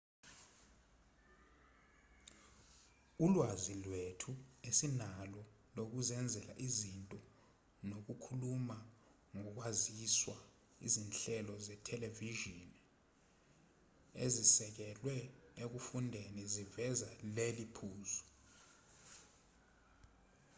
ulwazi lethu esinalo lokuzenzela izinto nokukhuluma ngokwaziswa izinhlelo zethelevishini ezisekelwe ekufundeni ziveza leli phuzu